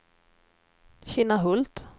Kinnahult